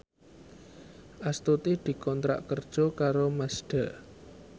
Astuti dikontrak kerja karo Mazda